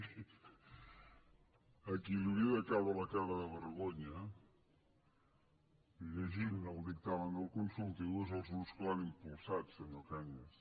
miri a qui els hauria de caure la cara de vergonya llegint el dictamen del consultiu és als grups que l’han impulsat senyor cañas